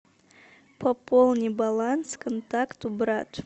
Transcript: пополни баланс контакту брат